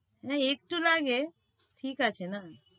না একটু লাগে ঠিক আছে না।